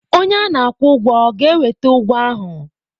Onye a na-akwụ ụgwọ ọ ga-eweta ụgwọ ahụ?